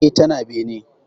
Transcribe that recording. E, tana bene.